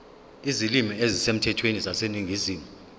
izilimi ezisemthethweni zaseningizimu